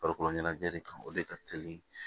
Farikolo ɲɛnajɛ de kan o de ka teli